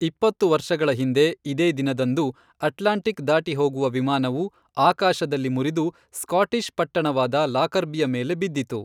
ಇಪ್ಪತ್ತು ವರ್ಷಗಳ ಹಿಂದೆ ಇದೇ ದಿನದಂದು, ಅಟ್ಲಾಂಟಿಕ್ ದಾಟಿಹೋಗುವ ವಿಮಾನವು ಆಕಾಶದಲ್ಲಿ ಮುರಿದು ಸ್ಕಾಟಿಷ್ ಪಟ್ಟಣವಾದ ಲಾಕರ್ಬಿಯ ಮೇಲೆ ಬಿದ್ದಿತು.